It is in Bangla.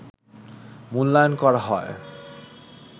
মূল্যায়ন করা হয়